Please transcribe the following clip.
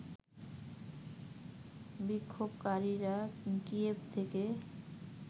বিক্ষোভকারীরা কিয়েভ থেকে